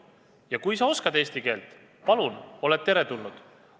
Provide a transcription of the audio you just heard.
Ja kui sa oskad eesti keelt – palun, oled teretulnud.